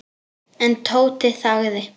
En Tóti þagði.